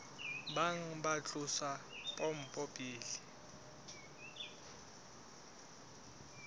bang ba tlosa pompo pele